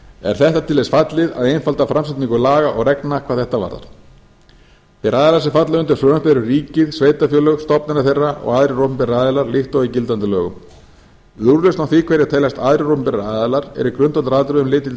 er þetta til þess fallið að einfalda framsetningu laga og reglna hvað þetta varðar þeir aðilar sem falla undir frumvarpið eru ríkið sveitarfélög stofnanir þeirra og aðrir opinberir aðilar líkt og í gildandi lögum við úrlausn á því hverjir teljast aðrir opinberir aðilar er í grundvallaratriðum litið til